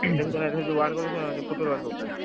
ଏଥର ଯଉ world ball ଖେଳ ହଉନଥିଲା Football ଯଉଟା,